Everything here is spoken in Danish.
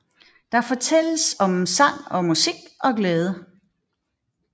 Der fortælles om sang og musik og glæde